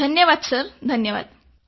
धन्यवाद सर धन्यवाद